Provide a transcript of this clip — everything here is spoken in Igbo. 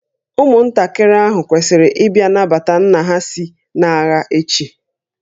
Ụmụntakịrị ahụ kwesịrị ịbịa nabata nna ha si n'agha echi